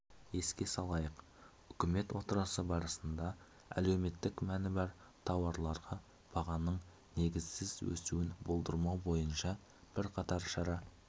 еске салайық үкімет отырысы барысында әлеуметтік мәні бар тауарларға бағаның негізсіз өсуін болдырмау бойынша бірқатар шара